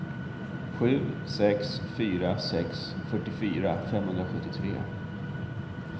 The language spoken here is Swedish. sju sex fyra sex fyrtiofyra femhundrasjuttiotre